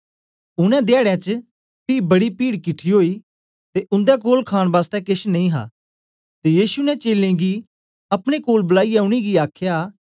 उनै धयाडें च पी बड़ी पीड किठी ओई ते उन्दे कोल खाण बासतै केछ नेई हा ते यीशु ने चेलें गी अपने कोल बलाईयै उनेंगी आखया